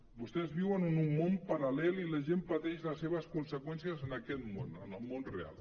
vostès viuen en un món paral·lel i la gent pateix les seves conseqüències en aquest món en el món real